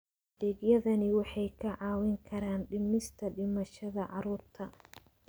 Adeegyadani waxay kaa caawin karaan dhimista dhimashada carruurta.